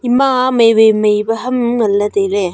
ema mai wai mai pe ham ngan ley tailey.